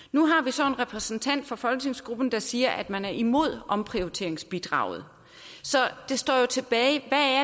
nu har vi så en repræsentant for folketingsgruppen der siger at man er imod omprioriteringsbidraget så det står jo tilbage